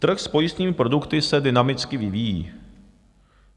Trh s pojistnými produkty se dynamicky vyvíjí.